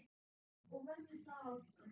Og verður það áfram.